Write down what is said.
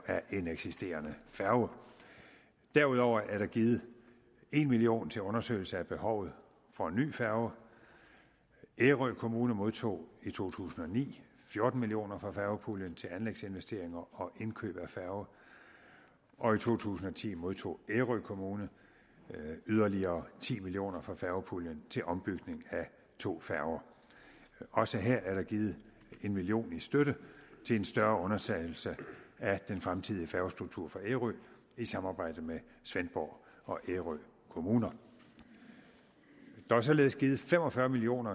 af en eksisterende færge derudover er der givet en million kroner til undersøgelse af behovet for en ny færge ærø kommune modtog i to tusind og ni fjorten million kroner fra færgepuljen til anlægsinvesteringer og indkøb af færge og i to tusind og ti modtog ærø kommune yderligere ti million kroner fra færgepuljen til ombygning af to færger også her er der givet en million kroner i støtte til en større undersøgelse af den fremtidige færgestruktur for ærø i samarbejde med svendborg og ærø kommuner der er således givet fem og fyrre million